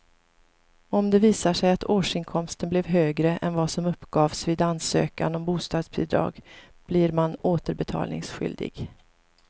Om det visar sig att årsinkomsten blev högre än vad som uppgavs vid ansökan om bostadsbidrag blir man återbetalningsskyldig.